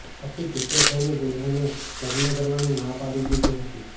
આથી ગુસ્સે થઈને દુલ્હનએ લગ્ન કરવાની ના પાડી દીધી હતી